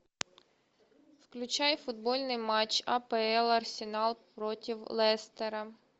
включай футбольный матч апл арсенал против лестера